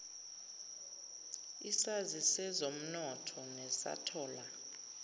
isazi sezomnotho nesathola